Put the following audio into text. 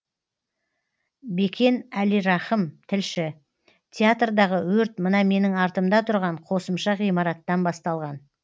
бекен әлирахым тілші театрдағы өрт мына менің артымда тұрған қосымша ғимараттан басталған